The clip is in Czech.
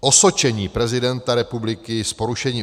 Osočení prezidenta republiky z porušení